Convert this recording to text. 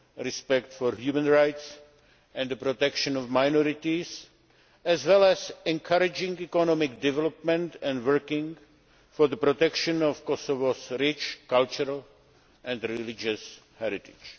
respect for human rights and the protection of minorities, as well as encouraging economic development and working for the protection of Kosovo's rich cultural and religious heritage.